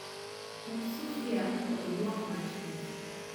Um sufria to iduok mach piny